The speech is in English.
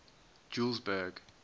julesburg